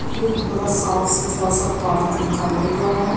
ये एक बड़ा साफ सुथरा सा पार्क दिखाया गया है।